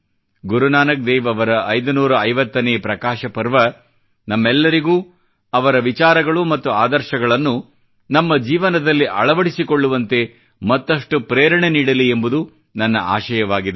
ಗುರುನಾನಕ್ ದೇವ್ ಅವರ 550ನೇ ಪ್ರಕಾಶ ಪರ್ವ ನಮ್ಮೆಲ್ಲರಿಗೂ ಅವರ ವಿಚಾರಗಳು ಮತ್ತು ಆದರ್ಶಗಳನ್ನು ನಮ್ಮ ಜೀವನದಲ್ಲಿ ಅಳವಡಿಸಿಕೊಳ್ಳವಂತೆ ಮತ್ತಷ್ಟು ಪ್ರೇರಣೆ ನೀಡಲಿ ಎಂಬುದು ನನ್ನ ಆಶಯವಾಗಿದೆ